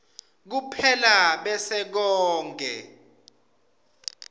kuphela bese konkhe